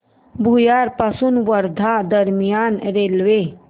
भुयार पासून वर्धा दरम्यान रेल्वे